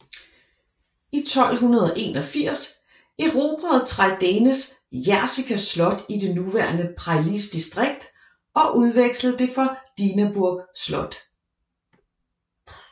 I 1281 erobrede Traidenis Jersika slot i det nuværende Preiļis distrikt og udvekslede det for Dinaburg slot